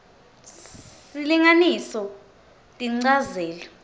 s silinganiso tinchazelo